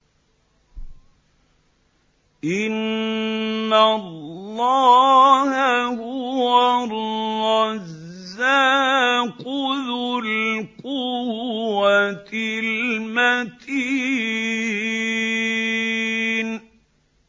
إِنَّ اللَّهَ هُوَ الرَّزَّاقُ ذُو الْقُوَّةِ الْمَتِينُ